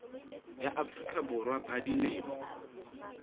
ya afrika borwa ba dilemo